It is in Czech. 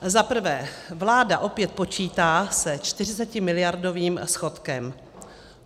Za prvé, vláda opět počítá se 40miliardovým schodkem.